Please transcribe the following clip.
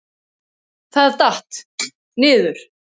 Það datt. niður.